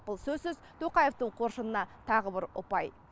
бұл сөзсіз тоқаевтың қоржынына тағы бір ұпай